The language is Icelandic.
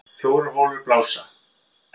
Fjórar holur blása